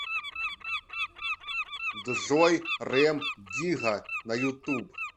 джой рем дигга на ютуб